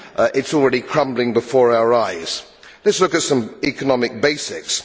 It is already crumbling before our eyes. Just look at some economic basics.